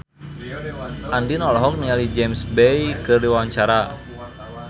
Andien olohok ningali James Bay keur diwawancara